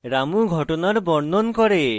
রামু ঘটনার বর্ণন করে